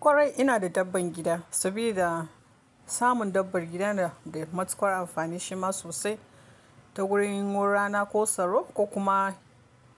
Kwarai ina da dabbar gida, saboda samun dabbar gida na da matukar amfani shima sosai ta gurin wurin rana ko tsaro ko kuma